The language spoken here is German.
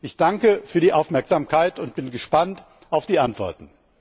Ich danke für die Aufmerksamkeit und bin gespannt auf die Antworten.